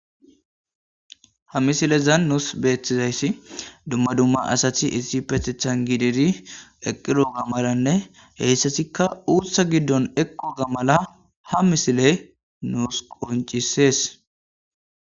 Ha misilezan nus beetizayssi dumma dumma asati issippetethan gididi eidoga malanne uuththa gidon eqqoga mala ha misile nus qoncisees.